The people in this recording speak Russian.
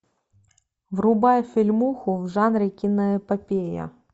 врубай фильмуху в жанре киноэпопея